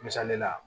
Misali la